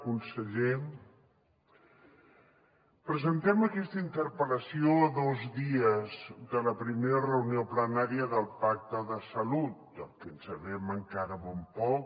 conseller presentem aquesta interpel·lació a dos dies de la primera reunió plenària del pacte de salut del que sabem encara molt poc